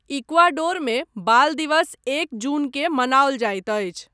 इक्वाडोरमे, बाल दिवस एक जूनकेँ मनाओल जाइत अछि।